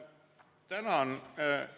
Tänan!